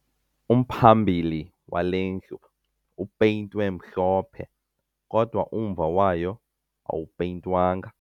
Umphambili wale ndlu upeyintwe mhlophe kodwa umva wayo awupeyintwanga